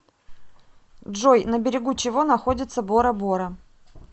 джой на берегу чего находится бора бора